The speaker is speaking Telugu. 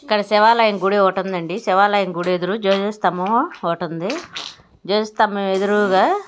ఇక్కడ శివాలయం గుడి ఒకటుందండి. శివాలయం గుడి ఎదురు స్తంభం ఒకటుంది. జోజ్జస్తంభం ఎదురుగా --